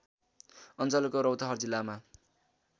अञ्चलको रौतहट जिल्लामा